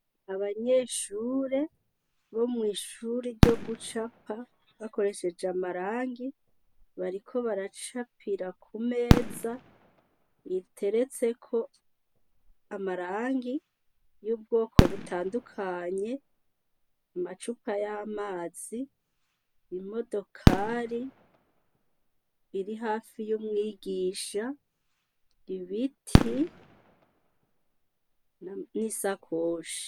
Abanyeshure bo mwishure ryogucapa bakoresheje amarangi bariko baracapira kumeza iteretseko amarangi yubwoko butandukanye amacupa yamazi imodokari iri hafi yumwigisha ibiti nisakoshi